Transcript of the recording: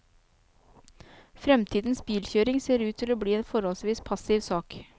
Fremtidens bilkjøring ser ut til å bli en forholdsvis passiv sak.